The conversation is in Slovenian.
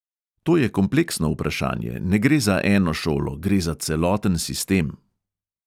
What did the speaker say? To je kompleksno vprašanje, ne gre za eno šolo, gre za celoten sistem.